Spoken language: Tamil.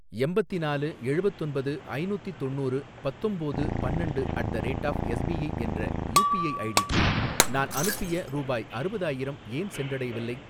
எம்பத்திநாலு எழுவத்தொன்பது ஐநூத்தி தொண்ணூறு பத்தொம்போது பன்னண்டு at the rate of SBI என்ற யூபிஐ ஐடிக்கு நான் அனுப்பிய ரூபாய் அறுவதாயிரம் ஏன் சென்றடையவில்லை?